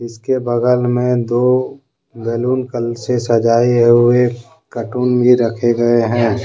इसके बगल में दो बैलून कलर से सजाए हुए हैं कार्टून भी रखे गए हैं ।